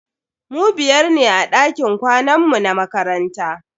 Mu biyar ne a dakin kwanan mu na makaranta.